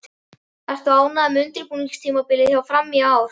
Ertu ánægður með undirbúningstímabilið hjá Fram í ár?